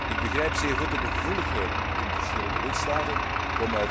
Ik begrijp de gevoeligheden in verschillende lidstaten zeer goed.